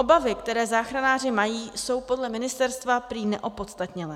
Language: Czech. Obavy, které záchranáři mají, jsou podle ministerstva prý neopodstatněné.